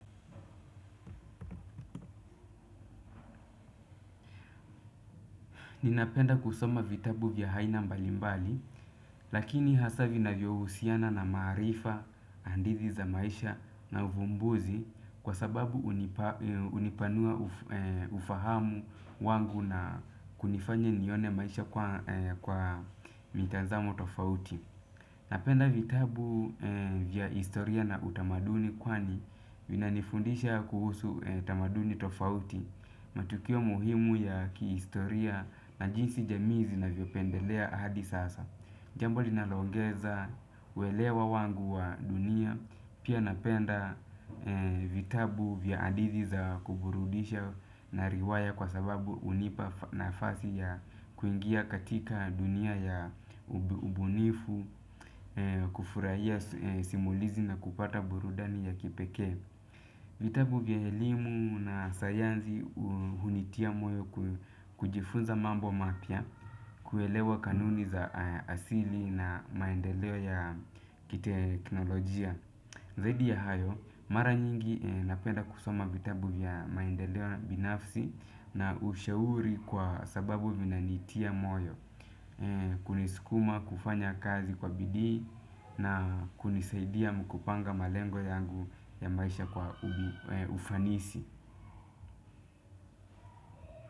Ninapenda kusoma vitabu vya aina mbalimbali lakini hasa vinavyohusiana na maarifa hadithi za maisha na uvumbuzi kwa sababu hunipa hunipanua ufahamu wangu na kunifanya nione maisha kwa mitazamo tofauti. Napenda vitabu vya historia na utamaduni kwani vinanifundisha kuhusu tamaduni tofauti matukio muhimu ya kihistoria na jinsi jamii zinavyopendelea hadi sasa. Jambo linaloongeza uelewa wangu wa dunia pia napenda vitabu vya hadithi za kuburudisha na riwaya kwa sababu hunipa nafasi ya kuingia katika dunia ya ubunifu kufurahia simulizi na kupata burudani ya kipekee. Vitabu vya elimu na sayansi hunitia moyo kujifunza mambo mapya, kuelewa kanuni za asili na maendeleo ya kiteknolojia. Zaidi ya hayo, mara nyingi napenda kusoma vitabu vya maendeleo binafsi na ushauri kwa sababu vinanitia moyo. Kunisukuma kufanya kazi kwa bidii na kunisaidia kupanga malengo yangu ya maisha kwa ufanisi.